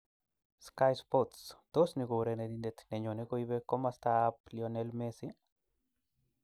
(Sky Sports) Tos, ni kourerenindet ninyone koibe komastab Lionel Messi?